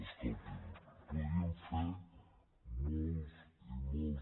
escolti’m podríem fer molts i molts